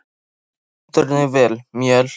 Þú stendur þig vel, Mjöll!